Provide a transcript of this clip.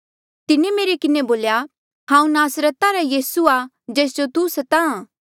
तिन्हें मेरे किन्हें बोल्या हांऊँ नासरता रा यीसू आ जेस जो तू स्ताहां